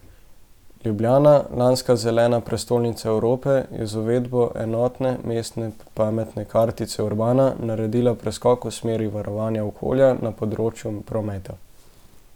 Ljubljana, lanska zelena prestolnice Evrope, je z uvedbo enotne mestne pametne kartice Urbana naredila preskok v smeri varovanja okolja na področju prometa.